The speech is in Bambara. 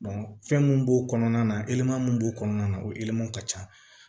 fɛn mun b'o kɔnɔna na e ma mun b'o kɔnɔna na o ka ca